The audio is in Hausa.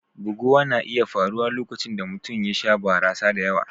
Buguwa na iya faruwa lokacin da mutum ya sha barasa da yawa.